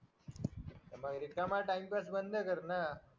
मग रिकामा टाईमपास बंद कर ना